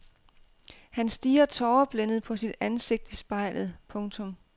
Han stirrer tåreblændet på sit ansigt i spejlet. punktum